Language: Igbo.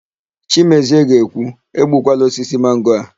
Chimezie ga-ekwu, "egbukwala osisi mango a"!